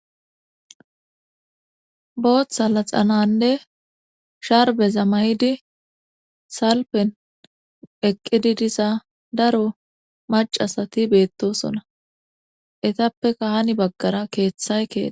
booththa laxananne sharbeza mayidi salpen eqqidi diza daro macasati beettosona etappe kaani baggara keeththay kee